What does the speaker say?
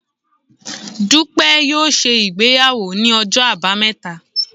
Dupe yóò se ìgbéyàwó ní Ọjọ abámeta